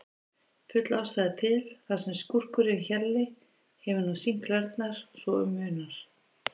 Full ástæða til, þar sem skúrkurinn Hjalli hefur nú sýnt klærnar svo um munar.